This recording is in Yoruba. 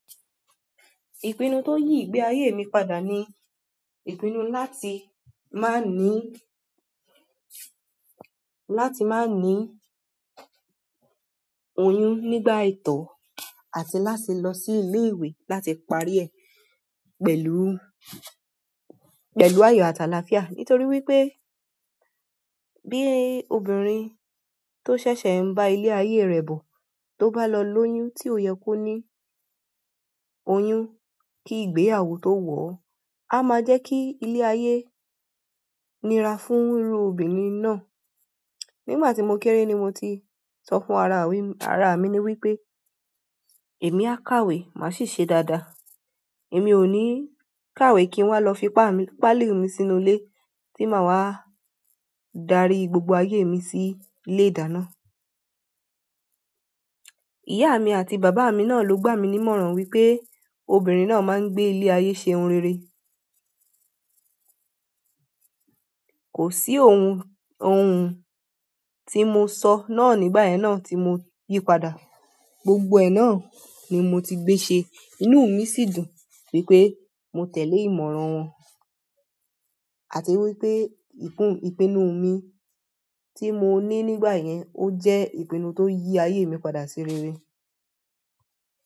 Ìpinnu tó yí ìgbé ayé mi padà ni, ìpinnu láti má ní, láti má ní oyún nígbà ìtọ́ àti láti lọ sí ilé ìwé láti parí ẹ̀ pẹ̀lú, pẹ̀lú ayọ̀ àtàlàáfíà. Nítorí wípé bí obìnrin tó ṣẹ̀ṣẹ̀ ń bá ilé ayé rẹ̀ bọ̀, tó bá lọ lóyún tí ò yẹ kó ní oyún, kí ìgbé àwo tó wọ̀, á máa jẹ́ kí ilé ayé nira fún irú obìnrin náà. Nígbà tí mo kéré ni mo ti sọ fún ara mi, ara mi ni wípé èmi á kàwé, màá sì ṣe dáadáa. Èmi ò ní kàwé kí wọ́n lọ fi pá mi, pálí mi sínú ilé tí màá wá darí gbogbo ayé mi sí ilé ìdáná. Mi àti bàbá mi náà ló gbà mí ní ìmọ̀ràn wípé obìnrin náà máa ń gbé ilé ayé ṣe ohun rere. Kò sí ohun, ohun tí mo sọ náà nígbà yẹn náà tí mo yí padà. Gbogbo ẹ̀ náà ni mo ti gbé ṣe. Inú mi sì dùn wípé mo tẹ̀lé ìmọ̀ràn wọn àti wípé ìpinnu mi tí mo ní nígbà yẹn ó jẹ́ ìpinnu tó yí ayé mi padà ṣe rere.